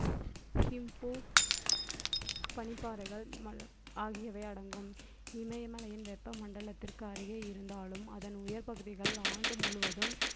பனிப்பாறைகள் மழை ஆகியவை அடங்கும் இமயமலையின் வெப்ப மண்டலத்திற்கு அருகே இருந்தாலும் அதன் உயர் பகுதிகள் ஆண்டு முழுவதும்